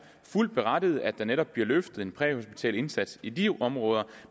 fuldt berettiget at der netop bliver løftet en præhospital indsats i de områder